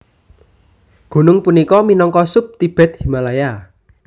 Gunung punika minangka sub Tibet Himalaya